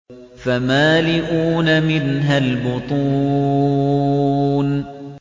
فَمَالِئُونَ مِنْهَا الْبُطُونَ